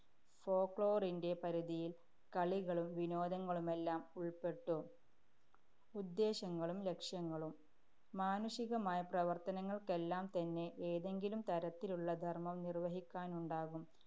folklore ന്‍റെ പരിധിയില്‍ കളികളും വിനോദങ്ങളുമെല്ലാം ഉള്‍പ്പെട്ടു. ഉദ്ദേശ്യങ്ങളും ലക്ഷ്യങ്ങളും. മാനുഷികമായ പ്രവര്‍ത്തനങ്ങള്‍ക്കെല്ലാം തന്നെ ഏതെങ്കിലും തരത്തിലുള്ള ധര്‍മം നിര്‍വഹിക്കാനുണ്ടാകും.